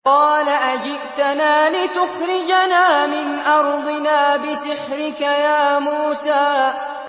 قَالَ أَجِئْتَنَا لِتُخْرِجَنَا مِنْ أَرْضِنَا بِسِحْرِكَ يَا مُوسَىٰ